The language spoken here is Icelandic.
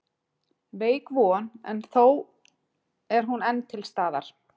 Veik von en þó er hún enn til staðar.